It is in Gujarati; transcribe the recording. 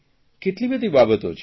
કેટલી બધી બાબતો છે